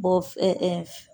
Bɔ f